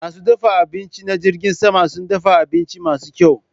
Masu dafa abinci na jirgin sama sun dafa abinci masu kyau.